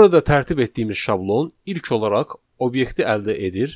Burada tərtib etdiyimiz şablon ilk olaraq obyekti əldə edir,